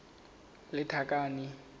lethakane